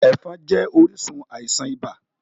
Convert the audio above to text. Ẹ̀fọn jẹ́ orísun àisàn ibà